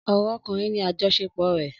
Ọ̀rọ̀ ọkùnrin ni àjọṣepọ̀ rẹ̀.